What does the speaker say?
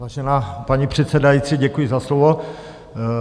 Vážená paní předsedající, děkuji za slovo.